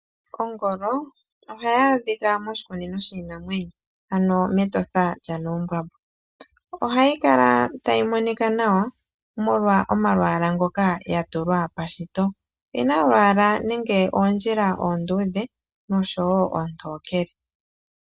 Ongolo ohayi adhika moshikunino shiinamwenyo ano mEtosha lyanuumbwambwa, oha yi kala tayi monika nawa omolwa omalwaala ngoka ya tulwa pashito, oyi na olwaala nenge oondjila onduudhe noshowo oontokele.